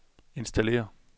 installér